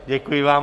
Děkuji vám.